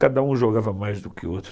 Cada um jogava mais do que o outro.